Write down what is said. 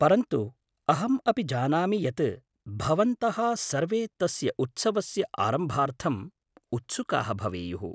परन्तु अहम् अपि जानामि यत् भवन्तः सर्वे तस्य उत्सवस्य आरम्भार्थम् उत्सुकाः भवेयुः।